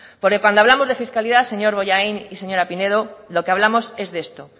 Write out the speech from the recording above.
porque cuando hablamos de fiscalidad señor bollain y señora pinedo lo que hablamos es de esto